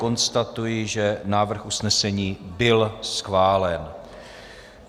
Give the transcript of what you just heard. Konstatuji, že návrh usnesení byl schválen.